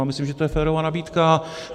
Já myslím, že to je férová nabídka.